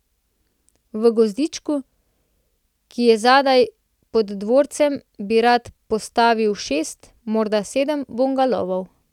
V gozdičku, ki je zadaj pod dvorcem, bi rad postavil šest, morda sedem bungalovov.